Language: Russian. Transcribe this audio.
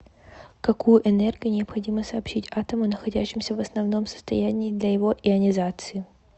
какую энергию необходимо сообщить атому находящемуся в основном состоянии для его ионизации